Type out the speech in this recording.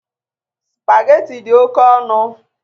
Sụpagheti dị oke ọnụ.